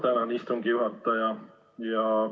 Ma tänan, istungi juhataja!